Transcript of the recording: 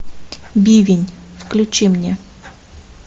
бивень включи мне